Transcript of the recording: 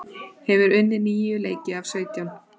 Hefur unnið níu leiki af sautján